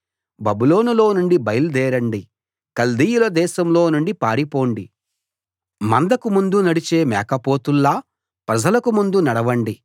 బబులోనులో నుండి బయల్దేరండి కల్దీయుల దేశంలో నుండి పారిపోండి మందకు ముందు నడిచే మేకపోతుల్లా ప్రజలకు ముందు నడవండి